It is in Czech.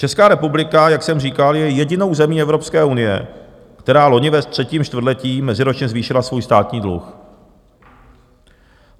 Česká republika, jak jsem říkal, je jedinou zemí Evropské unie, která loni ve třetím čtvrtletí meziročně zvýšila svůj státní dluh.